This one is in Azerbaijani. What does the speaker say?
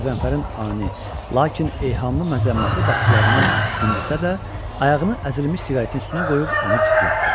Qəzənfərin ani, lakin eyhamlı məzəmmətli baxışlarından incisə də, ayağını əzilmiş siqaretin üstünə qoyub onu gizlətdi.